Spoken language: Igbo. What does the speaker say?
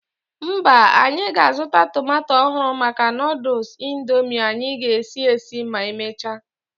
Mba, anyị ga-azụta tomato ọhụrụ maka Nụdụls Indomie anyị ga-esi esi ma emechaa.